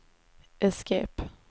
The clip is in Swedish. escape